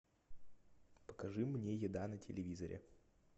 покажи мне еда на телевизоре